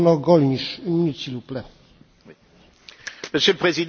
Monsieur le Président, il y a au moins trois causes du terrorisme qui dépendent de nous.